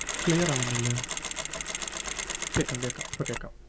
Clear ആവുന്നില്ല. കേക്കാം കേക്കാം ഇപ്പം കേക്കാം.